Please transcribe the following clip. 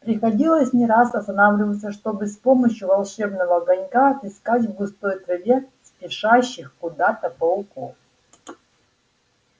приходилось не раз останавливаться чтобы с помощью волшебного огонька отыскать в густой траве спешащих куда-то пауков